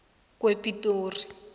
kwepitori